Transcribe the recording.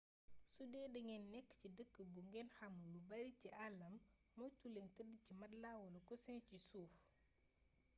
sudee dangeen nekk ci dëkk bu ngeen xamul lu bari ci àllam moytu leen tëdd ci matelas wala coussin ci suuf